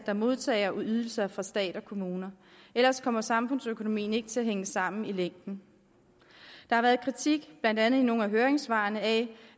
der modtager ydelser fra stat og kommuner ellers kommer samfundsøkonomien ikke til at hænge sammen i længden der har været kritik blandt andet i nogle af høringssvarene af